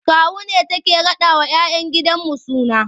Kawu ne take raɗawa 'ya 'yan gidanmu suna.